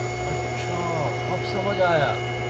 अच्छा अब समझ आया।